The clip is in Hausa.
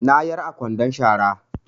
Na yar a kwandon shara